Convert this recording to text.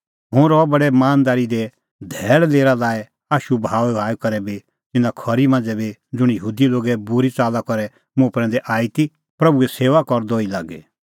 हुंह रहअ बडै मानदारी दी धैल़ लेरा लाई आशू बहाऊईबहाऊई करै बी तिन्नां खरी मांझ़ै बी ज़ुंण यहूदी लोगे बूरी च़ाल्ला करै मुंह प्रैंदै आई ती प्रभूए सेऊआ करदअ ई लागी